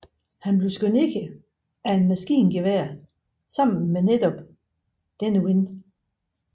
Han blev skudt ned af et maskingevær sammen med netop denne ven